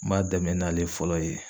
N b'a dɛmɛ n'ale fɔlɔ ye